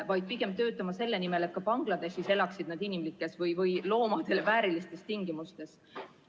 Pigem peame töötama selle nimel, et ka Bangladeshis elaksid nad loomadele väärilistes tingimustes.